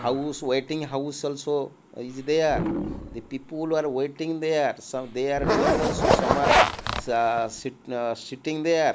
house waiting house also is there the people are waiting there some they are doing also some are sah sit ah sitting there.